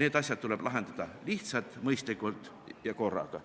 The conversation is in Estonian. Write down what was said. need asjad tuleb lahendada lihtsalt, mõistlikult ja korraga.